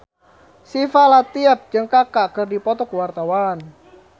Syifa Latief jeung Kaka keur dipoto ku wartawan